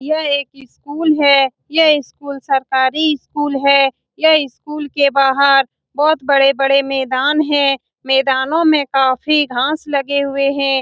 यह एक स्कूल है यह स्कूल सरकारी स्कूल है यह स्कूल के बाहर बहुत बड़े-बड़े मैदान है मैदानों में काफी घास लगे हुए हैं ।